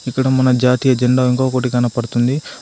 ఇక్కడ మన జాతీయ జెండా ఇంకొకటి కనపడుతుంది.